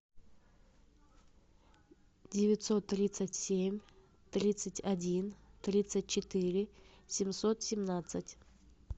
девятьсот тридцать семь тридцать один тридцать четыре семьсот семнадцать